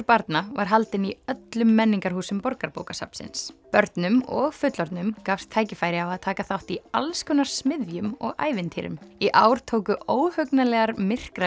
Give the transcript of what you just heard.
barna var haldinn í öllum menningarhúsum Borgarbókasafnsins börnum og fullorðnum gafst tækifæri á að taka þátt í alls konar smiðjum og ævintýrum í ár tóku óhugnanlegar